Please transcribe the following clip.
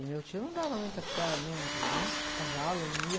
E meu tio não dava muita trela, não, de, nem cavalo, ele não ia.